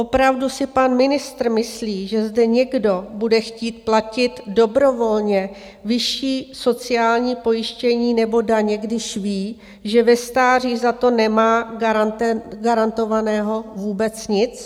Opravdu si pan ministr myslí, že zde někdo bude chtít platit dobrovolně vyšší sociální pojištění nebo daně, když ví, že ve stáří za to nemá garantovaného vůbec nic?